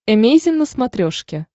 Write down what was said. эмейзин на смотрешке